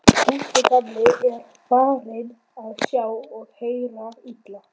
Gústi gamli er farinn að sjá og heyra illa.